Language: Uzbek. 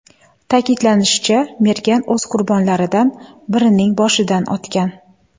Ta’kidlanishicha, mergan o‘z qurbonlaridan birining boshidan otgan.